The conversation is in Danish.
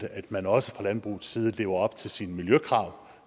at man også fra landbrugets side lever op til sine miljøkrav